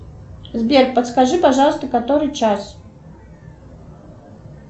сбер подскажи пожалуйста который час